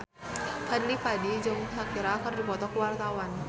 Fadly Padi jeung Shakira keur dipoto ku wartawan